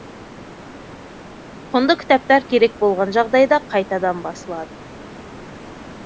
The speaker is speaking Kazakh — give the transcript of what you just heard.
құнды кітаптар керек болған жағдайда қайтадан басылады